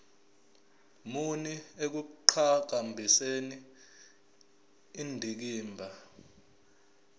muni ekuqhakambiseni indikimba